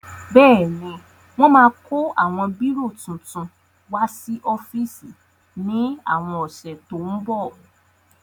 Bẹ́ẹ̀ni wọ́n máa kó àwọn bírò titun wá sí ọ́fíìsì ní àwọn ọ̀sẹ̀ tó ń bọ̀